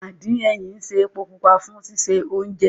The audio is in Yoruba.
Àdín ẹyìn ń ṣe epo pupa fún sísè oúnjẹ